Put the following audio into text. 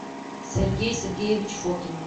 сергей сергеевич фокин